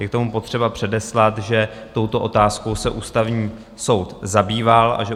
Je k tomu potřeba předeslat, že touto otázkou se Ústavní soud zabýval a že